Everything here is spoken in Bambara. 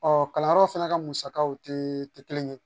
Ɔ kalanyɔrɔ fana ka musakaw tɛ tɛ kelen ye